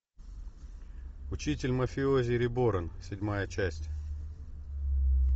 учитель мафиози реборн седьмая часть